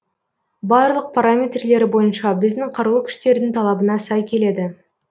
барлық параметрлері бойынша біздің қарулы күштердің талабына сай келеді